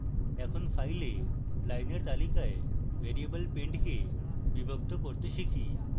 এখন file লাইলের তালিকায় variable pend কে বিভক্ত করতে শিখি